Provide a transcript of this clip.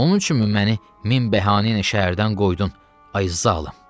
Onun üçünmü məni min bəhanə ilə şəhərdən qoydun, ay zalım?